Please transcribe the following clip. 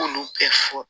K'olu bɛɛ fɔ